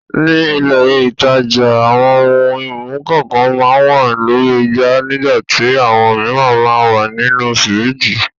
Ní ilé-ìtajà àwọn ohun-ìmu kànkan máa ń wà lórí igbá nígbà tí àwọn mìíràn máa ń wà nínú fíríjì.